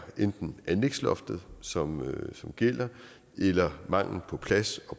enten anlægsloftet som som gælder eller mangel på plads